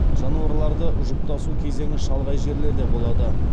жануарларды жұптасу кезеңі шалғай жерлерде болады